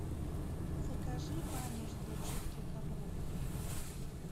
закажи ваниш для чистки ковров